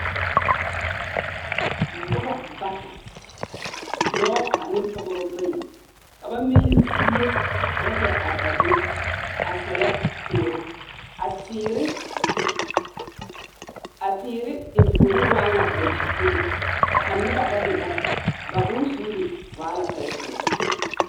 Noba bata, dͻͻ ane pͻgebͻ bayi, ka ba mili zie ka ba kpԑ are a be a sԑllԑ teere. A teere, a teere enfuoni waa ŋa daŋkyipuli, kyԑ a noba bama bata, ba bonsuuri waa la tͻԑ tͻԑ.